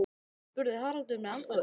spurði Haraldur með andköfum.